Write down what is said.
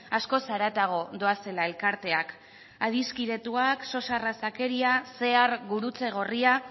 askoz haratago doazela elkarteak adiskidetuak sos arrazakeria cear gurutze gorria